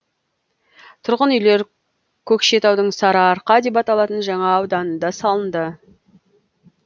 тұрғын үйлер көкшетаудың сарыарқа деп аталатын жаңа ауданында салынды